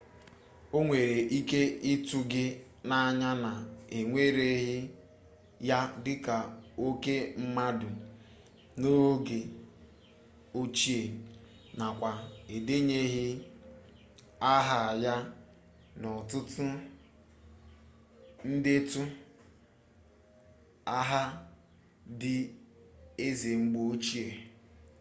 o nwere ike ịtụ gị n'anya na ewereghị ya dịka oke mmadụ n'oge ochie nakwa edenyeghị aha ya n'ọtụtụ ndetu aha ndị eze mgbe ochie